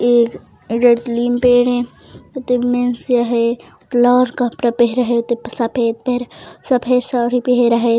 एक ए जत लिम पेड़ हे आते मेंस आहे कलर कपड़ा पहिरा हे आते सफ़ेद पिहरा सफ़ेद साड़ी पहरा हे।